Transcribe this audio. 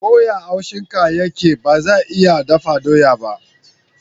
Ko ya haushin ka yake, ba zai iya dafa doya ba.